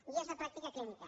guies de pràctica clínica